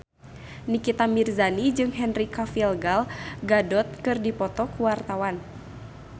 Nikita Mirzani jeung Henry Cavill Gal Gadot keur dipoto ku wartawan